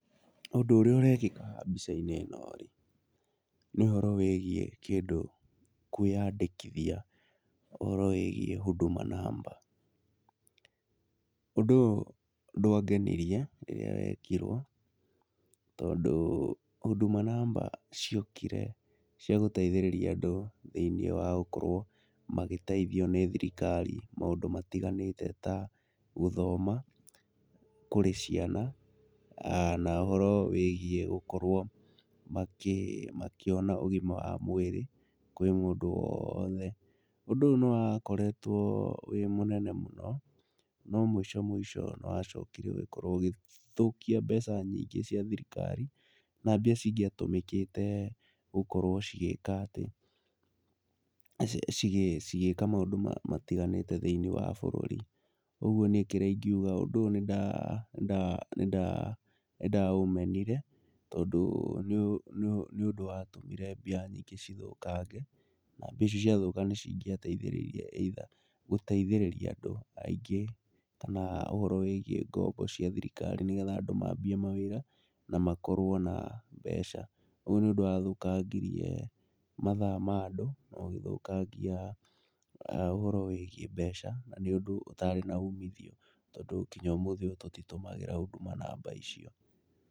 ũndũ ũria ũrekika mbica-ini ino-ri, nĩ ũhoro wĩgiĩ kwiyandĩkithia ũhoro wĩĩgiĩ huduma number, ũndũ ũyu ndwangenirie rĩria wekirwo tondũ huduma number ciokire cia gũteithĩrĩria andũ thíiniĩ wagũkorwo magĩteithio nĩ thirikari maũndũ matiganite ta gũthoma kũri ciana na ũhoro wĩgiĩ gũkorwo makiona ũgima wa mwiri kũri mũndũ woothe. Ũndũ ũyu nĩwakoretwo wĩ mũnene mũno no mũico mũico nĩwacokire ũgikorwo ũgĩthũkia mbeca nyingĩ cia thirikari, na mbia cingiatumikĩte gũkorwo cigĩka maũndũ matiganite thĩiniĩ wa bũrũri. Ũguo niĩ kĩria ingiuga ũndũ ũyu nindaũmenire tondũ nĩũndũ wa tũmire mbia nyingĩ cithũkange, na mbia icio ciathũka nicingiateithĩrĩirie either gũteithĩrĩria andũ aingĩ kana ũhoro wĩgiĩ ngombo cia thirikari nĩgetha andũ mambie mawĩra na makorwo na mbeca, ũyu nĩũndũ wathũkangirie mathaa ma andũ na ũgĩthũkangia ũhoro wĩgiĩ mbeca na nĩũndu ũtaari na umithio tondũ nginya ũmũthĩ tũtitũmagĩra huduma number icio.